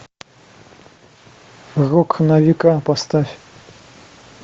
рок на века поставь